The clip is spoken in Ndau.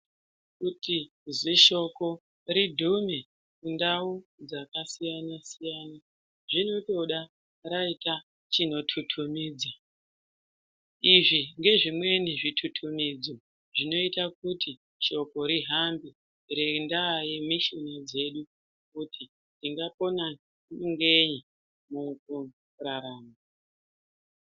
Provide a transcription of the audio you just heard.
Kuti zishoko rigume mundau dzakasiyanasiyana zvinotoda raita chinotutumidza izvingezvimweni zvitutumidzo zvinoita kuti shoko rihambe rendaa yemisheni dzedu rekuti ndingapona ngei mukurarama.